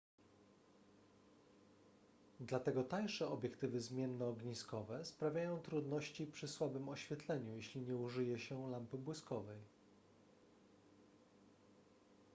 dlatego tańsze obiektywy zmiennoogniskowe sprawiają trudności przy słabym oświetleniu jeśli nie użyje się lampy błyskowej